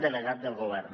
legat del govern